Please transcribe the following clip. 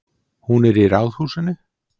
Hún er í Ráðhúsinu.